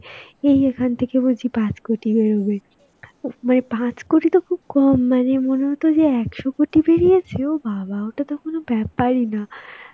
এই এখান থেকে বুঝি পাঁচ কোটি বেরোবে. ম~ মানে পাঁচ কোটি তো খুব কম, মানে কত যে একশ কোটি বেরিয়েছে. ও বাবা! ওটা তো কোন ব্যাপারই না.